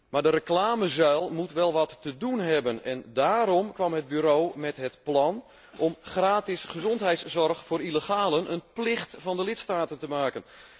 Maar de reclamezuil moet wel wat te doen hebben, en daarom kwam het bureau met het plan om van gratis gezondheidszorg voor illegalen een plicht van de lidstaten te maken.